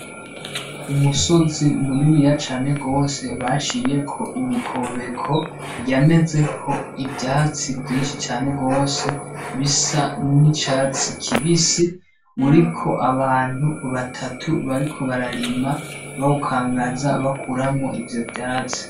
Umusozi muniniya cane gose baciyeko imikobeko yamezeho ivyatsi vyinshi cane gose bisa n'icatsi kibisi uriko abantu batatu bariko bararima bawukangaza bakuramwo ivyo vyatsi.